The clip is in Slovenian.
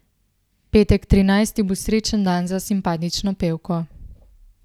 Petek trinajsti bo srečen dan za simpatično pevko.